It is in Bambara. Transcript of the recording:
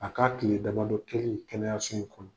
A k'a tile damabadɔ kɛlen kɛnɛyasow kɔnɔ